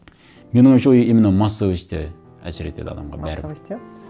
менің ойымша ол именно массовость і әсер етеді адамға бәрін массовость иә